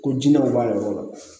Ko jinɛw b'a yɔrɔ la